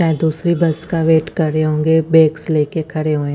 यहां दूसरी बस का वेट कर रहे होंगे बैग्स ले के खड़े हुए--